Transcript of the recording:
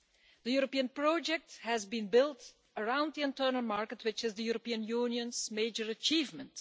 The European project has been built around the internal market, which is the European Union's major achievement.